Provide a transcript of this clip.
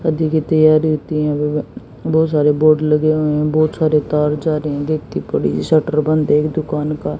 शादी की तैयारी होती है बहु बहोत सारे बोर्ड लगे हुए हैं बहोत सारे तार जा रहे हैं देक्ति पड़ी शटर बंद हे एक दुकान का।